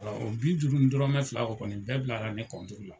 O bi duuru ni dɔrɔmɛ fila o kɔni bɛɛ bilara ni la.